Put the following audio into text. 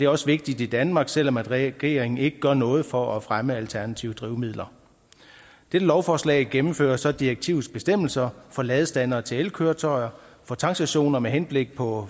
også vigtigt i danmark selv om regeringen ikke gør noget for at fremme alternative drivmidler dette lovforslag gennemfører så direktivets bestemmelser for ladestandere til elkøretøjer for tankstationer med henblik på